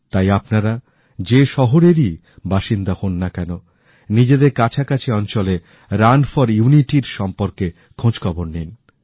তাই আপনারা যে শহরেরই বাসিন্দা হন না কেন নিজেদের কাছাকাছি অঞ্চলে রান ফর ইউনিটির সম্বন্ধে খোঁজখবর নিন